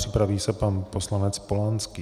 Připraví se pan poslanec Polanský.